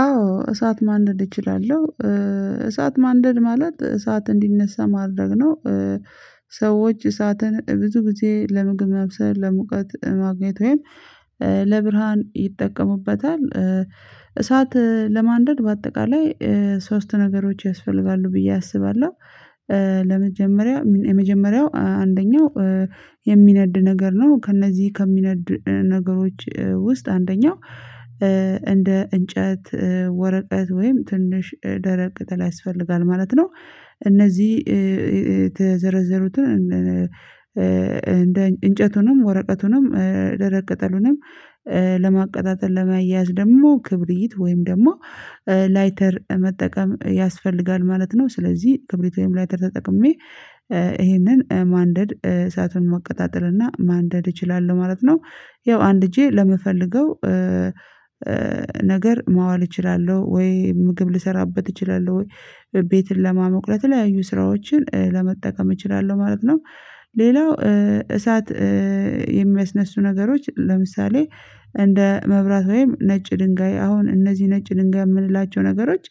አዎ እሳት ማንደድ እችላለሁ። እሳት ማንደድ ማለት እሳት እንዲነሳ ማድረግ ነው። ሰዎች እሳትን ብዙ ጊዜ ለምግብ መብሰል ለሙቀት ማግኘት ወይም። ለብርሃን ይጠቀሙበታል። እሳት ለማንደድ በአጠቃላይ ሶስት ነገሮች ያስፈልጋሉ ብዬ አስባለሁ። ለመጀመሪያ የመጀመሪያው አንደኛው። የሚነድ ነገር ነው ከእነዚህ ከሚነድ ነገሮች ውስጥ አንደኛው። እንደ እንጨት ወረቀት ወይም ትንሽ ደረቅ ቅጠል ያስፈልጋል ማለት ነው። እነዚህ የተዘረዘሩትን እንደ እንጨቱንም ወረቀቱንም ደረቅ ቅጠሉንም። ለማቀጣጠል ለማያያዝ ደግሞ ክብሪት ወይም ደግሞ ላይተር መጠቀም ያስፈልጋል ማለት ነው። ስለዚህ ክብሪት ወይም ላይተር ተጠቅሜ ይሄንን ማንደድ እሳቱን መቀጣጠል እና ማንደድ እችላለሁ ማለት ነው። ያው አንድጄ ለምፈልገው። ነገር ማዋል እችላለሁ ወይ ምግብ ልሰራበት እችላለሁ ወይ። ቤትን ለማሞቅ ለተለያዩ ስራዎችን ለመጠቀም እችላለሁ ማለት ነው። ሌላው እሳት የሚያስነሱ ነገሮች ለምሳሌ እንደ መብራት ወይም ነጭ ድንጋይ አሁን እነዚህ ነጭ ድንጋይ የምንላቸው ነገሮች።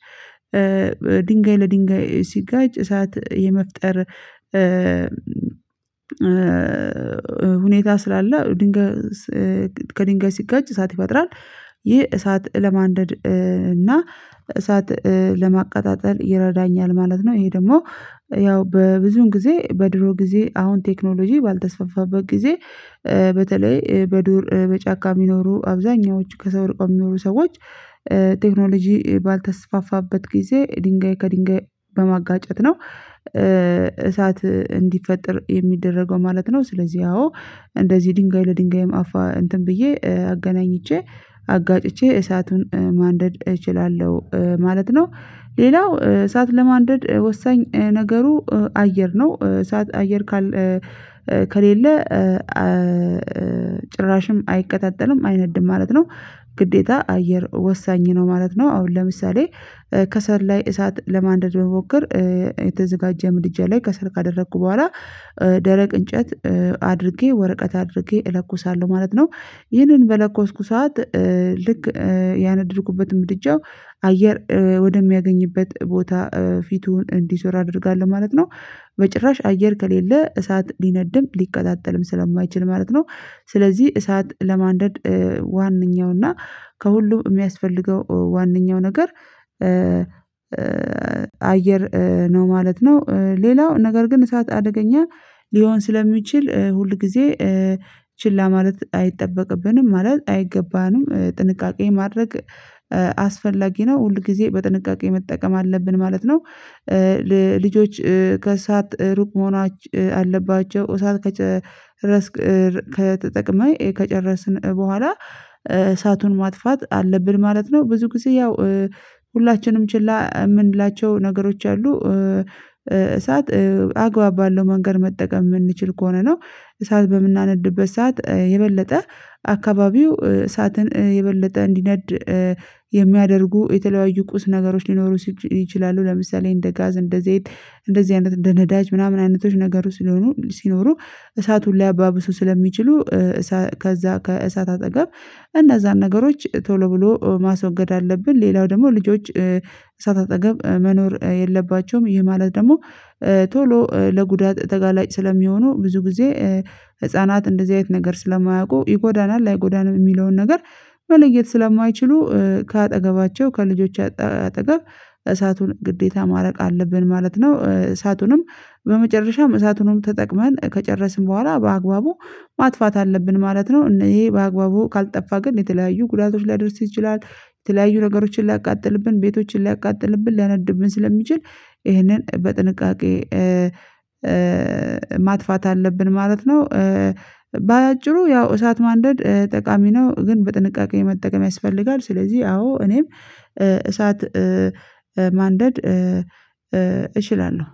ድንጋይ ለድንጋይ ሲጋጭ እሳት የመፍጠር ሁኔታ ስላለ ድንጋይ ከድንጋይ ሲጋጭ እሳት ይፈጥራል። ይህ እሳት ለማንደድ እና እሳት ለማቀጣጠል ይረዳኛል ማለት ነው። ይሄ ደግሞ ያው በብዙን ጊዜ በድሮ ጊዜ አሁን ቴክኖሎጂ ባልተስፋፋበት ጊዜ። በተለይ በዱር በጫካ የሚኖሩ አብዛኛዎቹ ከሰው ርቀው የሚኖሩ ሰዎች። ቴክኖሎጂ ባልተስፋፋበት ጊዜ ድንጋይ ከድንጋይ በማጋጨት ነው። እሳት እንዲፈጠር የሚደረገው ማለት ነው። ስለዚህ አወ። እንደዚህ ድንጋይ ለድንጋይም አፋ እንትን ብዬ አገናኝቼ አጋጭቼ እሳቱን ማንደድ እችላለሁ ማለት ነው። ሌላው እሳት ለማንደድ ወሳኝ ነገሩ አየር ነው እሳት አየር ካለ ከሌለ ጭራሽም አይቀጣጠልም አይነድም ማለት ነው። ግዴታ አየር ወሳኝ ነው ማለት ነው። አሁን ለምሳሌ ከሰል ላይ እሳት ለማንደድ መሞከር። የተዘጋጀ ምድጃ ላይ ከሰል ካደረኩ በኋላ። ደረቅ እንጨት አድርጌ ወረቀት አድርጌ እለኩሳለሁ ማለት ነው። ይህንን በለኮስኩ ሰዓት ልክ ያነደድኩበት ምድጃው አየር ወደሚያገኝበት ቦታ ፊቱን እንዲዞር አድርጋለሁ ማለት ነው። በጭራሽ አየር ከሌለ እሳት ሊነድም ሊቀጣጠልም ስለማይችል ማለት ነው። ስለዚህ እሳት ለማንደድ ዋነኛው እና ከሁሉም የሚያስፈልገው ዋነኛው ነገር አየር ነው ማለት ነው። ሌላው ነገር ግን እሳት አደገኛ ሊሆን ስለሚችል ሁል ጊዜ። ችላ ማለት አይጠበቅብንም ማለት አይገባንም ጥንቃቄ ማድረግ አስፈላጊ ነው ሁል ጊዜ በጥንቃቄ መጠቀም አለብን ማለት ነው። ልጆች ከሰአት ሩቅ መሆን አለባቸው። እሳት ከጨረስ ከተጠቅመን ከጨረስን በኋላ እሳቱን ማጥፋት አለብን ማለት ነው። ብዙ ጊዜ ያው ሁላችንም ችላ የምንላቸው ነገሮች አሉ። እሳት አግባብ ባለው መንገድ መጠቀም የምንችል ከሆነ ነው። እሳት በምናነድበት ሰዓት የበለጠ አካባቢው እሳትን የበለጠ እንዲነድ የሚያደርጉ የተለያዩ ቁስ ነገሮች ሊኖሩ ይችላሉ። ለምሳሌ እንደ ጋዝ እንደ ዘይት እንደዚህ አይነት እንደ ነዳጅ ምናምን አይነቶች ነገሩ ሲሆኑ ሲኖሩ እሳቱን ሊያባብሱ ስለሚችሉ። ከዛ ከእሳት አጠገብ እነዛን ነገሮች ቶሎ ብሎ ማስወገድ አለብን። ሌላው ደግሞ ልጆች እሳት አጠገብ መኖር የለባቸውም። ይህ ማለት ደግሞ ቶሎ ለጉዳት ተጋላጭ ስለሚሆኑ ብዙ ጊዜ። ህፃናት እንደዚህ አይነት ነገር ስለማያውቁ ይጎዳናል አይጎዳምም የሚለውን ነገር መለየት ስለማይችሉ ከአጠገባቸው ከልጆች አጠገብ እሳቱን ግዴታ ማራቅ አለብን ማለት ነው። እሳቱንም በመጨረሻም እሳቱንም ተጠቅመን ከጨረስን በኋላ በአግባቡ ማጥፋት አለብን ማለት ነው። እና ይሄ በአግባቡ ካልጠፋ ግን የተለያዩ ጉዳቶች ሊያደርስ ትችላለህ የተለያዩ ነገሮችን ሊያቃጥልብን ቤቶችን ሊያቃጥልብን ሊያናድብን ስለሚችል። ይሄንን በጥንቃቄ ማጥፋት አለብን ማለት ነው። በአጭሩ ያው እሳት ማንደድ ጠቃሚ ነው ግን በጥንቃቄ መጠቀም ያስፈልጋል ስለዚህ አዎ እኔም እሳት ማንደድ እችላለሁ